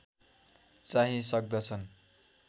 चाहिँ सक्दछन्